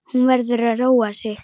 Hún verður að róa sig.